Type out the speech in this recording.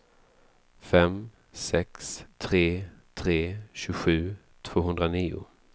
fem sex tre tre tjugosju tvåhundranio